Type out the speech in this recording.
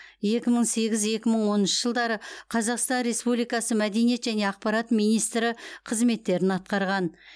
екі мың сегіз екі мың оныншы жылдары қазақстан республикасы мәдениет және ақпарат министрі қызметтерін атқарған